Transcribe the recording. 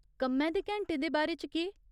कम्मै दे घैंटे दे बारे च केह् ?